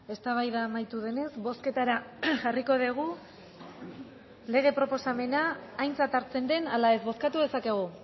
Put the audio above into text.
eztabaida amaitu denez bozketara jarriko dugu lege proposamena aintzat hartzen den ala ez bozkatu dezakegu